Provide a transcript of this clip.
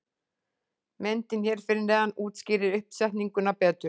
Myndin hér fyrir neðan útskýrir uppsetninguna betur.